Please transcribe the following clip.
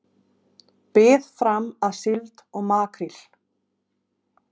Bið fram að síld og makríl